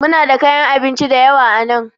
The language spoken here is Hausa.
Muna da kayan abinci da yawa a nan